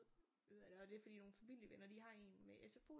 Det er fordi nogle familievenner de har en med SFO